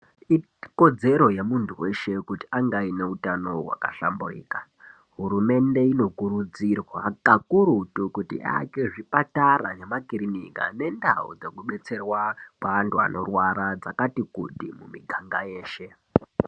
Ikodzero yemuntu weshe kuti ange aine utano hwakahlamburuka hurumende inokurudzirwa kakurutu kuti iake zvipatara nemakirinika nendau dzekubetserwa antu anorwara dzakati kuti muganga yeshe.